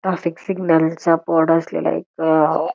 traffic सिग्नलचा board असलेला एक --